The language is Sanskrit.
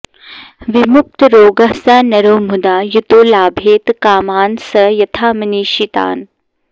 विमुक्तरोगः स नरो मुदा युतो लभेत कामान् स यथामनीषितान्